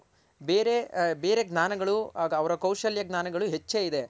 ಬೇರೆ ಬೇರೆ ಜ್ಞಾನಗಳು ಅವರ ಕೌಶಲ್ಯ ಜ್ಞಾನಗಳು ಹೆಚ್ಚೇ ಇದೆ.